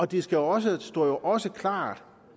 det står også står også klart